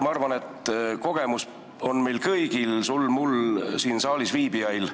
Ma arvan, et seda kogemust on meil kõigil – sul, mul ja teistel siin saalis viibijail.